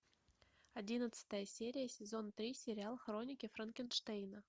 одиннадцатая серия сезон три сериал хроники франкенштейна